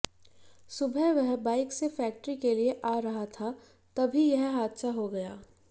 सुबह वह बाइक से फैक्ट्री के लिए आ रहा था तभी यह हादसा हो गया